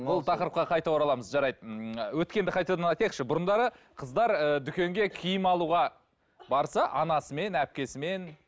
бұл тақырыпқа қайта ораламыз жарайды ммм өткенді қайтадан айтайықшы бұрындары қыздар ыыы дүкенге киім алуға барса анасымен әпкесімен